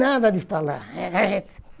Nada de falar.